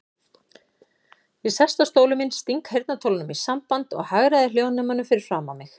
Ég sest á stólinn minn, sting heyrnartólunum í sambandi og hagræði hljóðnemanum fyrir framan mig.